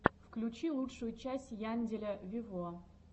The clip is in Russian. включи лучшую часть янделя вево